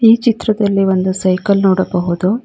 ಈ ಚಿತ್ರದಲ್ಲಿ ಒಂದು ಸೈಕಲ್ ನೋಡಬಹುದು.